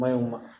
Mayo ma